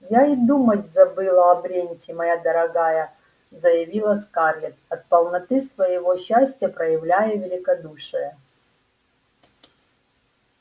я и думать забыла о бренте моя дорогая заявила скарлетт от полноты своего счастья проявляя великодушие